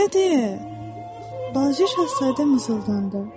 "Belə deyil," balaca şahzadə mızıldandı.